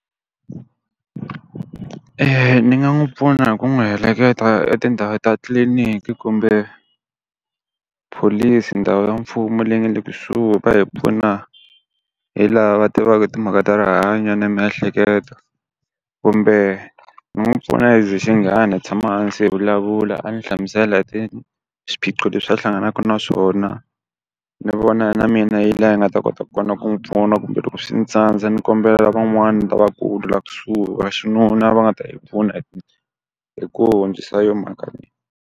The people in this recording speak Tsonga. ni nga n'wi pfuna hi ku n'wi heleketa etindhawini ta tliliniki kumbe police ndhawu ya mfumo leyi nga le kusuhi va hi pfuna hi laha tivaka timhaka ta rihanyo na miehleketo. Kumbe ni n'wi pfuna as xinghana hi tshama hansi hi vulavula a ni hlamusela swiphiqo leswi a hlanganaka na swona, ni vona na mina yi laha hi nga ta kota ku kona ku n'wi pfuna kumbe loko swi ni tsandza ni kombela van'wani lavaku laha kusuhi va xinuna va nga ta hi pfuna hi ku hundzisa yona mhaka leyi.